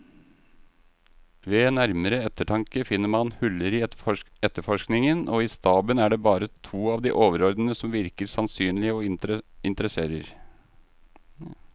Ved nærmere eftertanke finner man huller i efterforskningen, og i staben er det bare to av de overordnede som virker sannsynlige og interesserer.